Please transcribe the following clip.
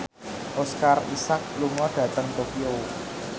Oscar Isaac lunga dhateng Tokyo